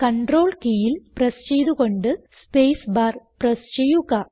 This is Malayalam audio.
കണ്ട്രോൾ കീയിൽ പ്രസ് ചെയ്ത് കൊണ്ട് സ്പേസ് ബാർ പ്രസ് ചെയ്യുക